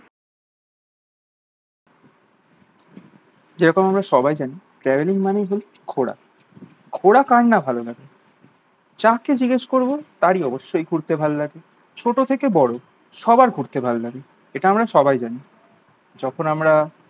যেরকম আমরা সবাই জানি ট্রাভেলিং মানেই জাস্ট ঘোরা। ঘোরা কার না ভালো লাগে? যাকে জিজ্ঞেস করবো তারই অবশ্যই ঘুরতে ভালো লাগে। ছোট থেকে বড় সবার ঘুরতে ভালো লাগে। এটা আমরা সবাই জানি। যখন আমরা